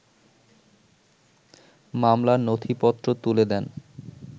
মামলার নথিপত্র তুলে দেন